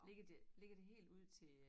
Ligger det ligger det helt ud til øh